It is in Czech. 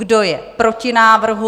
Kdo je proti návrhu?